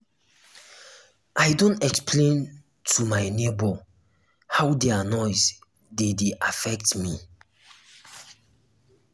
i don explain to um my nebor how um their noise dey dey um affect me.